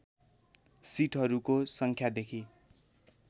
सीटहरूको सङ्ख्यादेखि